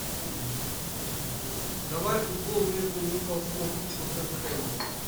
давай футбол между ньюкаслом и тоттенхэмом